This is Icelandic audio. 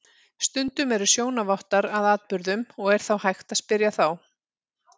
Stundum eru sjónarvottar að atburðum og er þá hægt að spyrja þá.